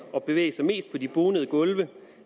at bevæge sig mest på de bonede gulve